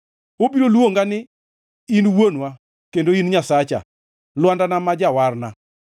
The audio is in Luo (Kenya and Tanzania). Obiro luonga ni, ‘In Wuonwa kendo in Nyasacha, lwandana ma Jawarna.’